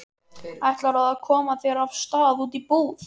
Ætlarðu að koma þér af stað út í búð?